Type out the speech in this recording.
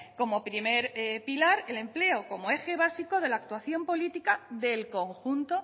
como primer pilar el empleo como eje básico de la actuación política del conjunto